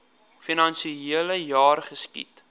finansiele jaar geskied